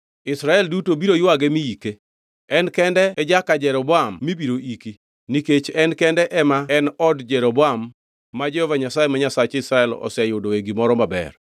Israel duto biro ywage mi ike. En kende e jaka Jeroboam mibiro iki, nikech en kende ema en e od Jeroboam ma Jehova Nyasaye ma Nyasach Israel oseyudoe gimoro maber.